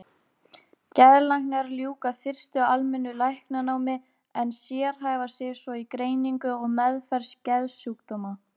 Geðlæknar ljúka fyrst almennu læknanámi en sérhæfa sig svo í greiningu og meðferð geðsjúkdóma.